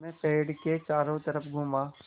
मैं पेड़ के चारों तरफ़ घूमा